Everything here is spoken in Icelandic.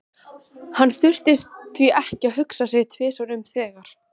Hann þurfti því ekki að hugsa sig tvisvar um þegar